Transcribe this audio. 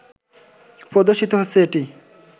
প্রদর্শিত হচ্ছে এটি